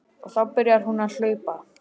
Og þá byrjar hún að hlaupa.